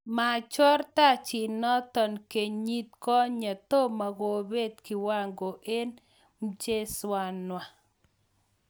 Machoor tajiitnoto kenyit konye, tomo kobeet kiwango eng mcheseenwa